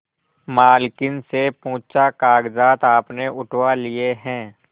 मालकिन से पूछाकागजात आपने उठवा लिए हैं